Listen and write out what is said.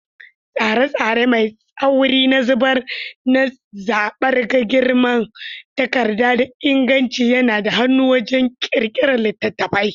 Tsare-tsare mai tsauri na zaɓar girman takarda da inganci yana da hannu wajen ƙirƙirar littattafai.